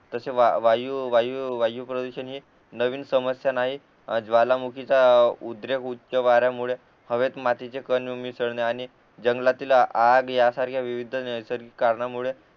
तसे वायू वायू प्रदूषण हे नवीन समस्या नाही ज्वालामुखीचा उद्रेक उच्च वाऱ्यामुळे हवेत मातीचे कण मिसळणे आणि जंगलातील आग या सारख्या विविध नैसर्गिक कारणामुळे